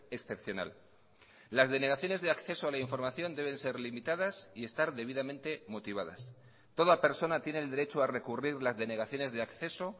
excepcional las denegaciones de acceso a la información deben ser limitadas y estar debidamente motivadas toda persona tiene el derecho a recurrir las denegaciones de acceso